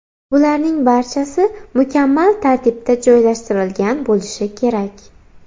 Bularning barchasi mukammal tartibda joylashtirilgan bo‘lishi kerak.